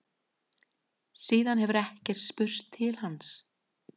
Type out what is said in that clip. Síðan hefur ekki spurst til hans